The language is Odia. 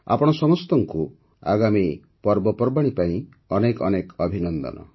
ଆପଣ ସମସ୍ତଙ୍କୁ ଆଗାମୀ ପର୍ବପର୍ବାଣୀ ପାଇଁ ଅନେକ ଅନେକ ଅଭିନନ୍ଦନ